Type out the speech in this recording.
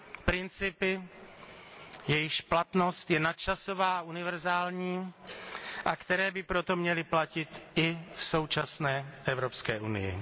Principy, jejichž platnost je nadčasová a univerzální, a které by proto měly platit i v současné Evropské unii.